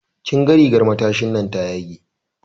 Kin ga rigan matashinan ta yage.